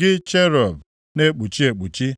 gị cherub na-ekpuchi ekpuchi.